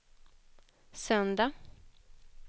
söndag